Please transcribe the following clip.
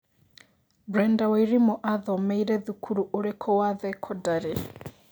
Brenda Wairimu athomĩire thukuru ũrikũ wa thekondari